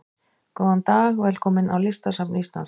Góðan dag. Velkomin á Listasafn Íslands.